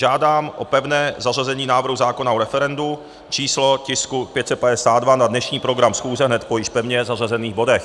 Žádám o pevné zařazení návrhu zákona o referendu, číslo tisku 552, na dnešní program schůze, hned po již pevně zařazených bodech.